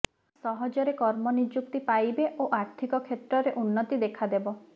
ସହଜରେ କର୍ମ ନିଯୁକ୍ତି ପାଇବେ ଓ ଆର୍ଥିକ କ୍ଷେତ୍ରରେ ଉନ୍ନତି ଦେଖାଦେବ